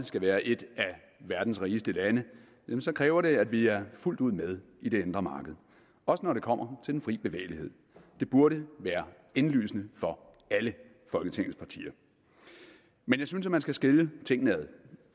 skal være et af verdens rigeste lande kræver det at vi er fuldt ud med i det indre marked også når det kommer til den frie bevægelighed det burde være indlysende for alle folketingets partier men jeg synes at man skal skille tingene ad